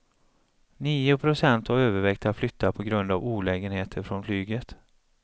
Nio procent har övervägt att flytta på grund av olägenheter från flyget.